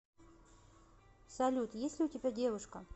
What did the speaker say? салют есть ли у тебя девушка